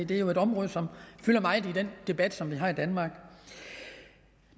det er jo et område som fylder meget i den debat som vi har i danmark